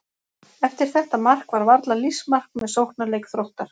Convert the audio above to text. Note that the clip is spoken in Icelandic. Eftir þetta mark var varla lífsmark með sóknarleik Þróttar.